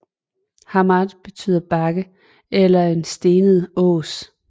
Hammar betyder bakke eller en stenet ås